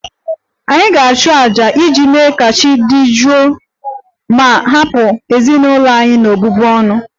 Anyị ga-achụ àjà iji mee ka chi dị jụụ ma hapụ ezinụlọ anyị n'ọbụbụ ọnụ